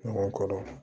Ɲɔgɔn kɔrɔ